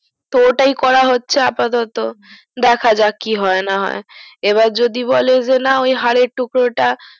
তো ওটাই করা হচ্ছে আপাতত ডক্যাজক কি হয় না হয় আবার যদি বলে যে না ওই হারের টুকরো টা